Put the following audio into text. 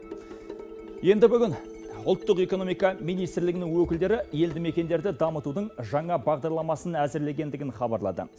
енді бүгін ұлттық экономика министрлігінің өкілдері елді мекендерді дамытудың жаңа бағдарламасын әзірлегендігін хабарлады